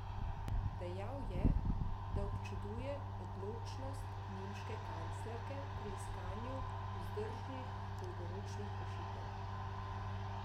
Dejal je, da občuduje odločnost nemške kanclerke pri iskanju vzdržnih dolgoročnih rešitev.